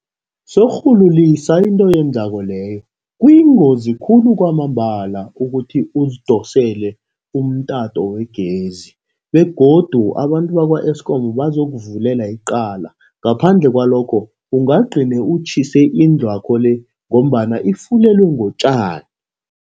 Sorhulu lisa into oyenzako leyo. Kuyingozi khulu kwamambala ukuthi uzidosele umtato wegezi begodu abantu bakwa-Eskom, bazokuvulela iqala ngaphandle kwalokho ungagcine utjhise indlwakho le ngombana ifulelwe ngotjani.